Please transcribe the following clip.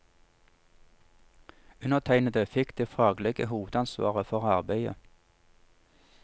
Undertegnede fikk det faglige hovedansvaret for arbeidet.